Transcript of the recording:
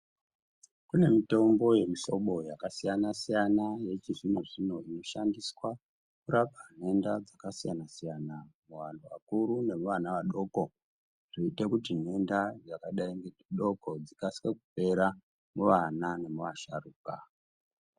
Kune mitombo yemuhlobo yakasiyana-siyana ,yechizvino-zvino inoshandiswa kurapa nhenda dzakasiyana-siyana. Muvanhu vakuru nevana vadoko zvoita kuti nhenda yakadai nechidoko dzikasike kupera muvana nemuvasharuka.